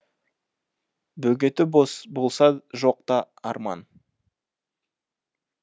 бөгеті болса жоқ та арман